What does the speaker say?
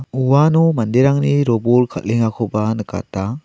uano manderangni robol kal·engakoba nikata.